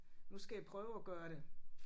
Nu skal jeg prøve at gøre det